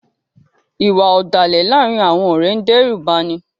Iwạ ọdalẹ laarin awọn ọrẹ ǹ dẹrubani